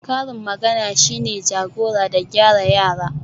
karin magana shine jagora da gyara yara